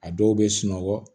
A dɔw bɛ sunɔgɔ